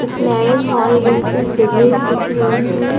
इक marriage hall जैसी जगह दिख रही है।